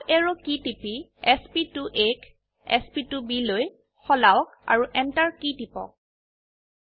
up arrow key টিপি sp2আ ক sp2bলৈ সলাওক আৰু Enter কী টিপক